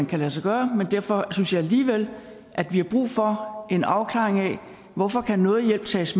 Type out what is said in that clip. kan lade sig gøre men derfor synes jeg alligevel at vi har brug for en afklaring af hvorfor kan noget hjælp tages